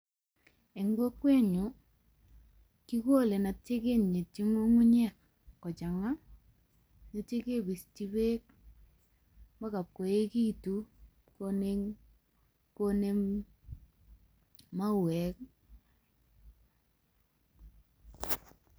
En kokwenyun, kigole aitya kinyityi ng'ung'unyek kochang'a aitya kibisyi beek agoi koekitun konem mauek.